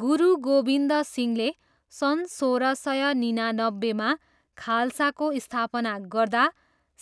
गुरु गोबिन्द सिंहले सन् सोह्र सय निनानब्बेमा खाल्साको स्थापना गर्दा